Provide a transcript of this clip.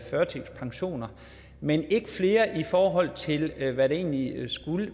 førtidspensioner men ikke flere i forhold til hvad det egentlig skulle